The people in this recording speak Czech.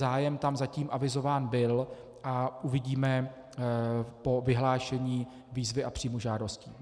Zájem tam zatím avizován byl a uvidíme po vyhlášení výzvy a příjmu žádostí.